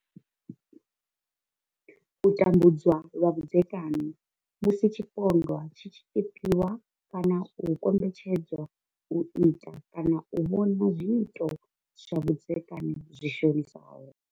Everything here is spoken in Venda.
U tambudzwa lwa vhudzekani musi tshipondwa tshi tshi tshipiwa kana u kombetshedzwa u ita kana u vhona zwiito zwa vhudzekani zwi shonisaho.